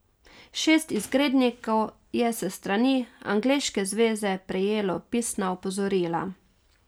Šest izgrednikov je s strani angleške zveze prejelo pisna opozorila.